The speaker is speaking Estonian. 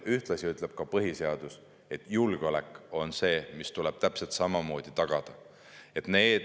Ühtlasi ütleb põhiseadus, et julgeolek tuleb täpselt samamoodi tagada.